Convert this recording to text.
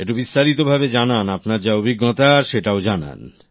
একটু বিস্তারিত ভাবে জানান আপনার যা অভিজ্ঞতা সেটাও জানান